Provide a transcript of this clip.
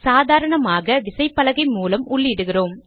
சாதாரணமாக விசைப்பலகை மூலம் உள்ளிடுகிறோம்